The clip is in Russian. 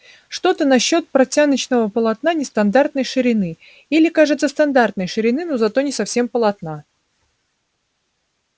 что то насчёт портяночного полотна нестандартной ширины или кажется стандартной ширины но зато не совсем полотна